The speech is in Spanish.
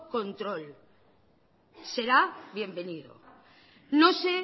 control será bienvenido no sé